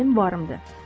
Mənim varımdır.